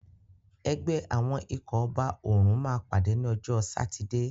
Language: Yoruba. Ẹgbẹ́ àwọn ikọ̀ ọba òrùn máa pàdé ní ọjọ́ sátidé.